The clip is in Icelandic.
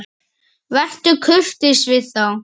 Vertu kurteis við þá!